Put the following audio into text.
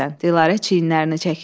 Dilarə çiynini çəkir.